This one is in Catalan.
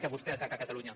que vostè ataca catalunya